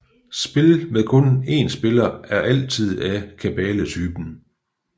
Spil med kun 1 spiller er altid af kabaletypen